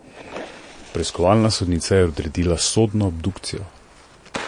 Preiskovalna sodnica je odredila sodno obdukcijo.